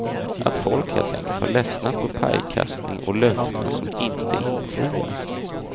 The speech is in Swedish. Att folk helt enkelt har ledsnat på pajkastning och löften som inte infrias.